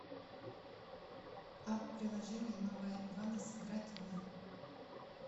апп приложение новое ивана сыграть в